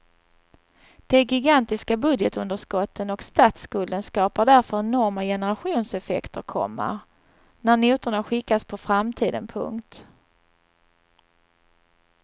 De gigantiska budgetunderskotten och statsskulden skapar därför enorma generationseffekter, komma när notorna skickas på framtiden. punkt